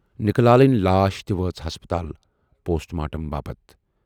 نِکہٕ لالٕنۍ لاش تہِ وٲژ ہسپتال پوسٹ مارٹم باپتھ۔